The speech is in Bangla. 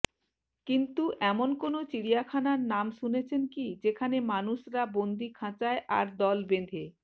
কিন্তু এমন কোনও চিড়িয়াখানার নাম শুনেছেন কি যেখানে মানুষরা বন্দি খাঁচায় আর দল বেঁধে